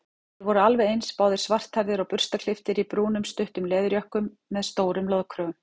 Þeir voru alveg eins, báðir svarthærðir og burstaklipptir í brúnum stuttum leðurjökkum með stórum loðkrögum.